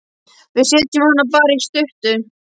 Við setjum hana bara í sturtu.